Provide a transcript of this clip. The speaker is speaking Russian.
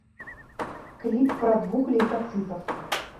клип про двух лейкоцитов